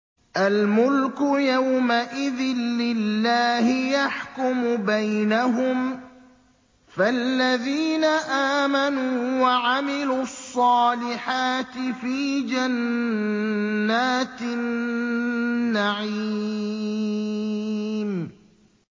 الْمُلْكُ يَوْمَئِذٍ لِّلَّهِ يَحْكُمُ بَيْنَهُمْ ۚ فَالَّذِينَ آمَنُوا وَعَمِلُوا الصَّالِحَاتِ فِي جَنَّاتِ النَّعِيمِ